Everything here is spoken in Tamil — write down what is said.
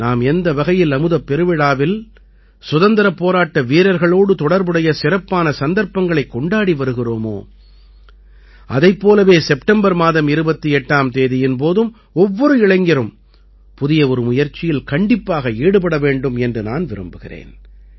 நாம் எந்த வகையில் அமுதப் பெருவிழாவில் சுதந்திரப் போராட்ட வீரர்களோடு தொடர்புடைய சிறப்பான சந்தர்ப்பங்களைக் கொண்டாடி வருகிறோமோ அதைப் போலவே செப்டம்பர் மாதம் 28ஆம் தேதியின் போதும் ஒவ்வொரு இளைஞரும் புதிய ஒரு முயற்சியில் கண்டிப்பாக ஈடுபட வேண்டும் என்று நான் விரும்புகிறேன்